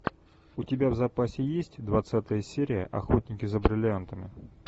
у тебя в запасе есть двадцатая серия охотники за бриллиантами